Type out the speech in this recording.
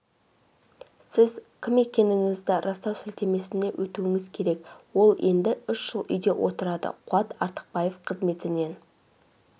сіз кім екендігіңізді растау сілтемесіне өтуіңіз керек ол енді үш жыл үйде отырады қуат артықбаев қызметінен